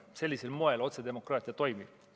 Sellisel moel otsedemokraatia toimib.